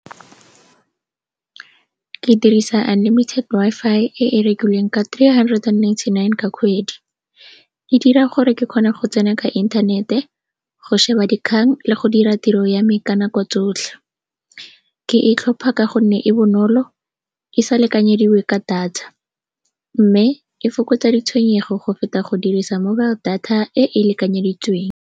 Ke dirisa unlimited Wi-Fi e e rekilweng ka three hundred and ninety-nine ka kgwedi. E dira gore ke kgone go tsena ka inthanete, go šeba dikgang le go dira tiro ya me ka nako tsotlhe. Ke e tlhopha ka gonne e bonolo, e sa lekanyediwe ka data mme e fokotsa ditshwenyego go feta go dirisa mobile data e e lekanyeditsweng.